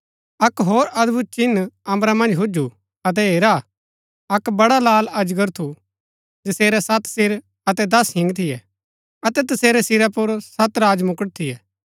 अक्क होर अदभुत चिन्ह अम्बरा मन्ज हुजु अतै हेरा अक्क बड़ा लाल अजगर थू जसेरै सत सिर अतै दस हिंग थियै अतै तसेरै सिरा पुर सत राजमुकट थियै